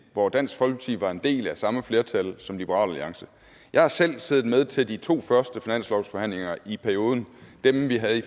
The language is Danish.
hvor dansk folkeparti var en del af samme flertal som liberal alliance jeg har selv siddet med til de to første finanslovsforhandlinger i perioden dem vi havde i